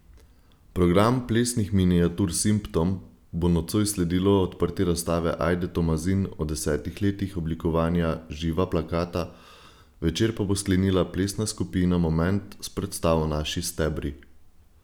Programu plesnih miniatur Simptom bo nocoj sledilo odprtje razstave Ajde Tomazin o desetih letih oblikovanja Živa plakata, večer pa bo sklenila plesna skupina Moment s predstavo Naši stebri.